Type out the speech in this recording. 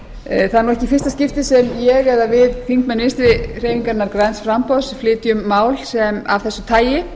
er nú ekki í fyrsta skipti sem ég eða við þingmenn vinstri hreyfingarinnar græns framboðs flytjum mál af þessu tagi